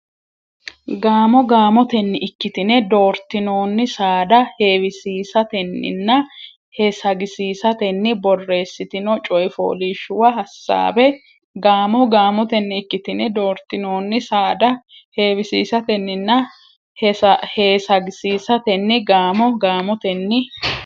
Gaamo gaamotenni ikkitine doortinoonni saada heewisiisatenninna heesagisiisatenni borreessitino coy fooliishshuwa hasaabbe Gaamo gaamotenni ikkitine doortinoonni saada heewisiisatenninna heesagisiisatenni Gaamo gaamotenni.